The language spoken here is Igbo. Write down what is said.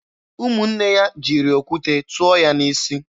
Ụmụnne ya jiri okwute tụọ ya n'isi.